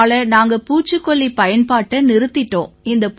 இதனால நாங்க பூச்சிக்கொல்லிப் பயன்பாட்டை நிறுத்திட்டோம்